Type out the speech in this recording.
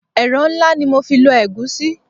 Ẹ̀rọ ńlá ni mo fi lọ egusi.